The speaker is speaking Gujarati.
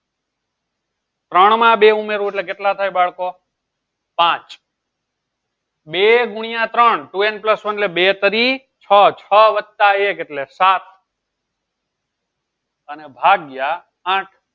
ત્રણમાં બે ઉમેરો એટલે કેટલા થાય બાળકો પાંચ બે ગુણ્યા ત્રણ two n plus one એટલે બે તેરી છ છ વત્તા એક એટલે સાત અને ભાગ્યા આઠ